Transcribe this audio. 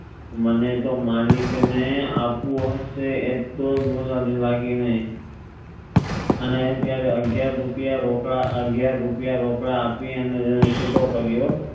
મને તો માલિક ને આપવો હસે એક્ટલો બોજ આપીસ બાકી નહિ અને ત્યરેહ અગિયાર રૂપિયા અગિયાર રૂપિયા રોકડા આપી અને તેને છૂટો કર્યો